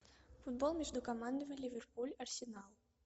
футбол между командами ливерпуль арсенал